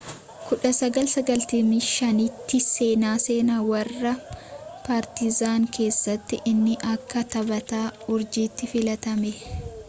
1995 tti seenaa seenaa warra paartizan keessatti inni akka taphata uurjiiti filatame